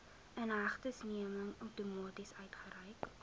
inhegtenisneming outomaties uitgereik